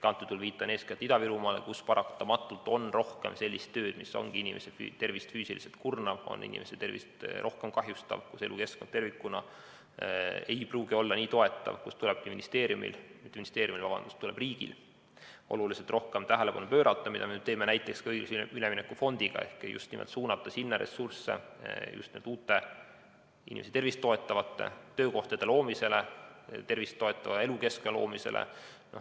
Ma viitan eeskätt Ida-Virumaale, kus paratamatult on rohkem sellist tööd, mis ongi inimeste tervist füüsiliselt kurnav, kahjustav, kus elukeskkond tervikuna ei pruugi olla nii toetav ja kuhu riigil tulebki oluliselt rohkem tähelepanu pöörata, mida me nüüd teeme ka näiteks õiglase ülemineku fondiga, et just nimelt suunata sinna ressursse uute, inimese tervist toetavate töökohtade loomiseks ja tervist toetava elukeskkonna loomiseks.